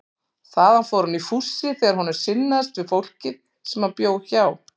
Þaðan fór hann í fússi þegar honum sinnaðist við fólkið sem hann bjó hjá.